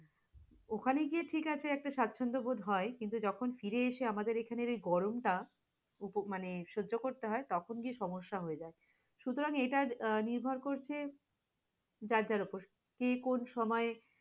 ওখানে গিয়ে ঠিক আছে একটা স্বাচ্ছন্দ্যবোধ হয় কিন্তু যখন ফিরে এসে আমাদের এখানের এই গরমটা, উপ মানে সজ্য করতে হয় তখন গিয়ে সমস্যা হয়ে যাই, সুতারাং এটা নিভর করছে যার যার উপর, কে কোন সময়ে